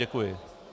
Děkuji.